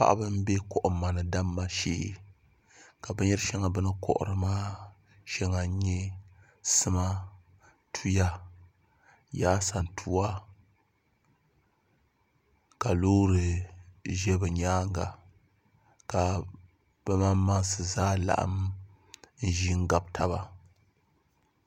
Paɣaba n bɛ kohamma ni damma shee ka binyɛri shɛŋa bini kohari maa shɛŋa n nyɛ sima tuya yaasantuwa ka loori ʒɛ bi nyaanga ka bi maŋmaŋsi zaa laɣam ʒi n gabi taba